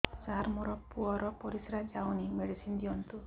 ସାର ମୋର ପୁଅର ପରିସ୍ରା ଯାଉନି ମେଡିସିନ ଦିଅନ୍ତୁ